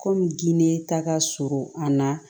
Kɔmi ginde ta ka surun a na